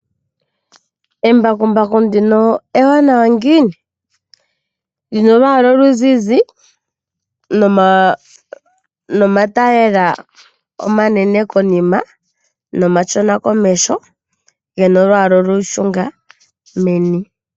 Embakumbaku ndino ewanawa ngini? Lina olwaala oluzizi nomatayiyela omanene konima. Nomashona komeho gena olwaala olushunga meni.